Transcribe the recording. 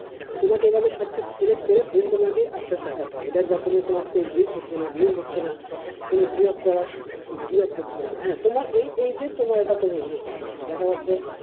তোমাকে এভাবে সবকিছু select করে then তোমাকে আস্তে আস্তে আগাতে হবে দেখবা তুমি তোমার page reach হচ্ছে না view হচ্ছে না, কিন্তু give up করা give up করতে হবে না, হেঁ, তোমার এই এই যে তোমার জন্য perfect,